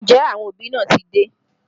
Ǹjẹ́ àwọn òbí náà ti dé?